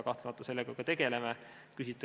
Kahtlemata me sellega juba tegeleme.